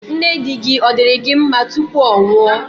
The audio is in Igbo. Nne di-gi, ọ̀ diri gi nma tupu ọ nwụọ?